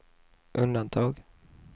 undantag